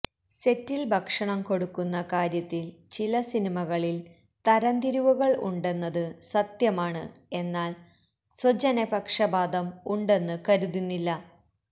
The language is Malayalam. സെറ്റിൽ ഭക്ഷണം കൊടുക്കുന്ന കാര്യത്തിൽ ചില സിനിമകളിൽ തരം തിരിവുകൾ ഉണ്ടെന്നത് സത്യമാണ് എന്നാൽ സ്വജനപക്ഷപാതം ഉണ്ടെന്ന് കരുതുന്നില്ല